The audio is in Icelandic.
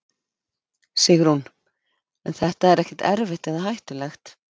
Sigrún: En er þetta ekkert erfitt eða hættulegt?